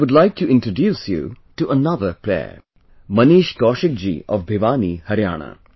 I would like to introduce you to another player, Manish Kaushik ji of Bhiwani, Haryana